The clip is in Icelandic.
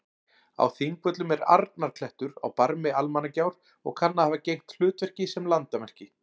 Á Þingvöllum er Arnarklettur á barmi Almannagjár og kann að hafa gegnt hlutverki sem landamerki.